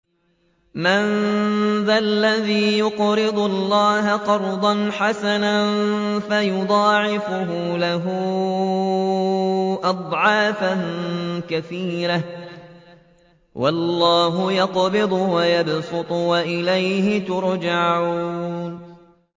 مَّن ذَا الَّذِي يُقْرِضُ اللَّهَ قَرْضًا حَسَنًا فَيُضَاعِفَهُ لَهُ أَضْعَافًا كَثِيرَةً ۚ وَاللَّهُ يَقْبِضُ وَيَبْسُطُ وَإِلَيْهِ تُرْجَعُونَ